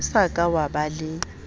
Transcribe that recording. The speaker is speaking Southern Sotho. o sa ka waba le